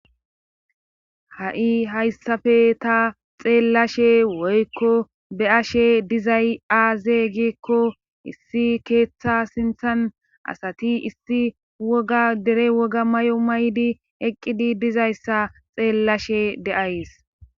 Ha'i hayssafe ta xeellashe woykko be ashe dizay aaze giekko issi keeththa sinthan asati issi woga dere woga may'o maydi eqqidi dizayssa xeellashe deays.